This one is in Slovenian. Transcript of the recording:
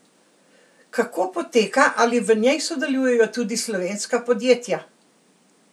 Kako poteka, ali v njej sodelujejo tudi slovenska podjetja?